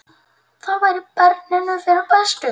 Það væri barninu fyrir bestu.